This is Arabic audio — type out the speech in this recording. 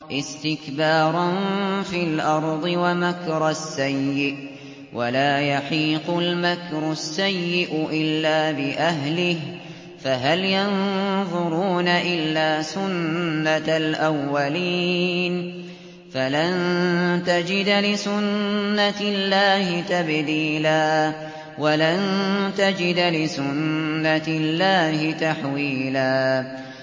اسْتِكْبَارًا فِي الْأَرْضِ وَمَكْرَ السَّيِّئِ ۚ وَلَا يَحِيقُ الْمَكْرُ السَّيِّئُ إِلَّا بِأَهْلِهِ ۚ فَهَلْ يَنظُرُونَ إِلَّا سُنَّتَ الْأَوَّلِينَ ۚ فَلَن تَجِدَ لِسُنَّتِ اللَّهِ تَبْدِيلًا ۖ وَلَن تَجِدَ لِسُنَّتِ اللَّهِ تَحْوِيلًا